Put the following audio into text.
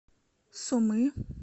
сумы